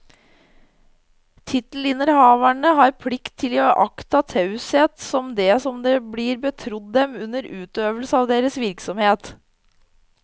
Tittelinnehavere har plikt til å iaktta taushet om det som blir betrodd dem under utøvelse av deres virksomhet.